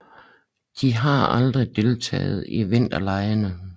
De har aldrig deltaget i vinterlege